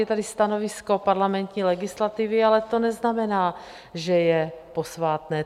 Je tady stanovisko parlamentní legislativy, ale to neznamená, že je posvátné.